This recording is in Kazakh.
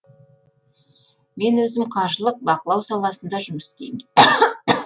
мен өзім қаржылық бақылау саласында жұмыс істеймін